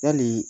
Yali